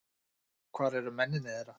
Hvar eru mennirnir þeirra?